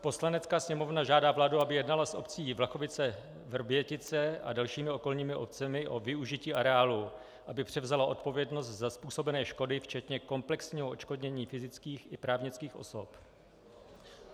Poslanecká sněmovna žádá vládu, aby jednala s obcí Vlachovice-Vrbětice a dalšími okolními obcemi o využití areálu, aby převzala odpovědnost za způsobené škody včetně komplexního odškodnění fyzických i právnických osob.